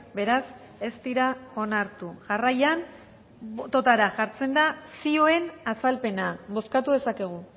beraz ez dira onartu jarraian bototara jartzen da zioen azalpena bozkatu dezakegu